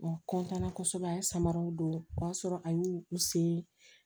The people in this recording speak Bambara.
kosɛbɛ a ye samaraw don o y'a sɔrɔ a y'u sen